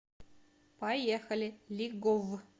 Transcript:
поехали лиговъ